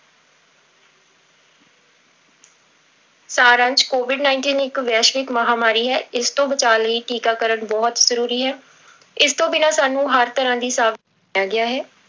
ਸਾਰ ਅੰਸ਼ covid nineteen ਇੱਕ ਵੈਸ਼ਵਿਕ ਮਹਾਂਮਾਰੀ ਹੈ, ਇਸ ਤੋਂ ਬਚਾਅ ਲਈ ਟੀਕਾਕਰਨ ਬਹੁਤ ਜ਼ਰੂਰੀ ਹੈ, ਇਸ ਤੋਂ ਬਿਨਾਂ ਸਾਨੂੰ ਹਰ ਤਰ੍ਹਾਂ ਦੀ ਸਾਵ ਗਿਆ ਹੈ।